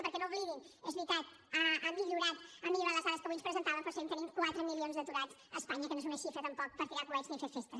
perquè no ho oblidin és veritat han millorat les dades que avui ens presentàvem però seguim tenint quatre milions d’aturats a espanya que no és una xifra tampoc per tirar coets ni fer festes